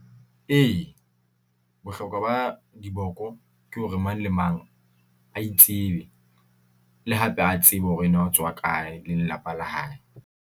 E, bohlokwa ba diboko ke hore mang le mang a itsebe, le hape a tsebe hore na o tswa kae le lelapa la hae.